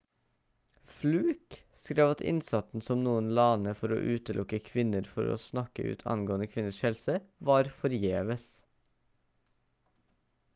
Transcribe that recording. fluke skrev at innsatsen som noen la ned for å utelukke kvinner fra å snakke ut angående kvinners helse var forgjeves